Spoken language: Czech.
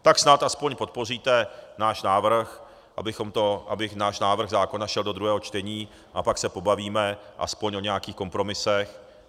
Tak snad aspoň podpoříte náš návrh, aby náš návrh zákona šel do druhého čtení, a pak se pobavíme aspoň o nějakých kompromisech.